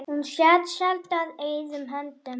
Hún sat sjaldan auðum höndum.